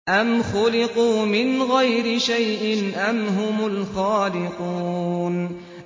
أَمْ خُلِقُوا مِنْ غَيْرِ شَيْءٍ أَمْ هُمُ الْخَالِقُونَ